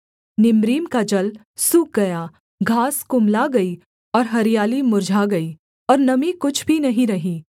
Nimrim का जल सूख गया घास कुम्हला गई और हरियाली मुर्झा गई और नमी कुछ भी नहीं रही